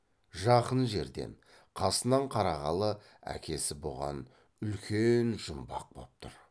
жақын жерден қасынан қарағалы әкесі бұған үлкен жұмбақ боп тұр